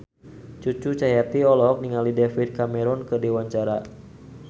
Cucu Cahyati olohok ningali David Cameron keur diwawancara